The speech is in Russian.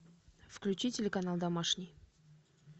включи телеканал домашний